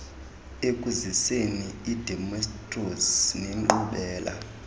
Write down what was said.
ekuziseni idemokhrasi nenkqubela